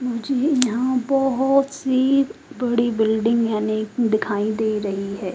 मुझे यहां बहोत सी बड़ी बिल्डिंग यानि दिखाई दे रही है।